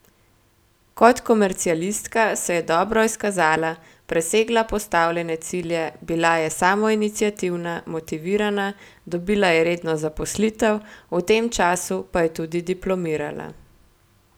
Kot komercialistka se je dobro izkazala, presegala postavljene cilje, bila je samoiniciativna, motivirana, dobila je redno zaposlitev, v tem času pa je tudi diplomirala.